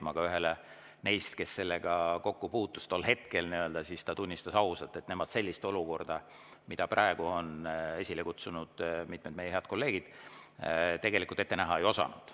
Üks neist, kes sellega kokku puutus tol hetkel, tunnistas ausalt, et nemad sellist olukorda, mille praegu on esile kutsunud mitmed meie head kolleegid, tegelikult ette näha ei osanud.